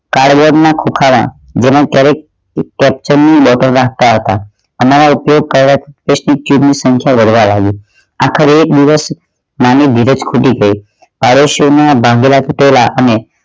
કાળવેર ના ખુંખાર જેનો ક્યારેય નાખતા હતા અમે તે કડક ની સંખ્યા વધવા લાગી આખરે એ દિવસ મારી ધીરજ ખૂટી ગઈ ના બાંધેલા તૂટેલા અને